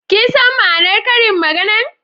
Kin san ma'anar Karin magana'n?